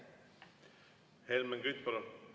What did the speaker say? Helmen Kütt, palun!